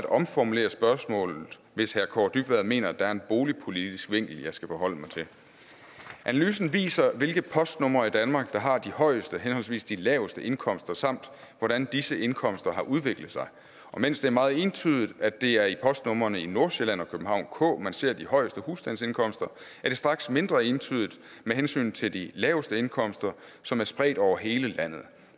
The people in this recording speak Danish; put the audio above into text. omformulere spørgsmålet hvis herre kaare dybvad mener at der er en boligpolitisk vinkel jeg skal forholde mig til analysen viser hvilke postnumre i danmark der har de højeste henholdsvis de laveste indkomster samt hvordan disse indkomster har udviklet sig og mens det er meget entydigt at det er i postnumrene i nordsjælland og københavn k man ser de højeste husstandsindkomster er det straks mindre entydigt med hensyn til de laveste indkomster som er spredt over hele landet